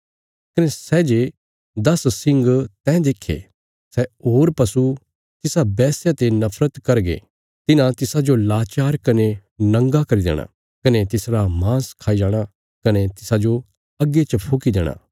कने सै जे दस सिंग तैं देक्खे सै होर पशु तिसा वैश्या ते नफरत करगे तिन्हां तिसाजो लाचार कने नंगा करी देणा कने तिसरा मांस खाई जाणा कने तिसाजो अग्गी च फुकी देणा